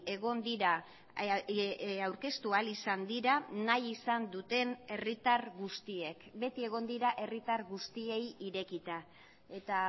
egon dira aurkeztu ahal izan dira nahi izan duten herritar guztiek beti egon dira herritar guztiei irekita eta